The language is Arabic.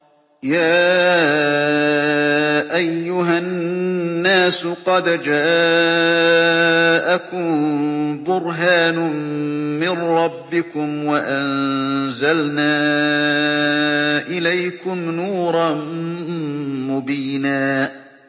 يَا أَيُّهَا النَّاسُ قَدْ جَاءَكُم بُرْهَانٌ مِّن رَّبِّكُمْ وَأَنزَلْنَا إِلَيْكُمْ نُورًا مُّبِينًا